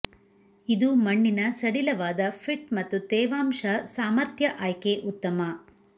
ಇದು ಮಣ್ಣಿನ ಸಡಿಲವಾದ ಫಿಟ್ ಮತ್ತು ತೇವಾಂಶ ಸಾಮರ್ಥ್ಯ ಆಯ್ಕೆ ಉತ್ತಮ